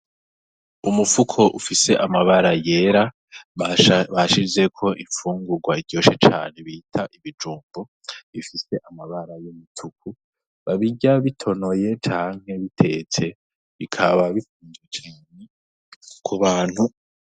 Umufuko ufise amabara yera bashizeko imfungurwa iryoshe cane bita ibijumbu, bifise amabara y'umutuku. Babirya bitonoye canke bitetse.